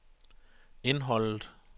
indholdet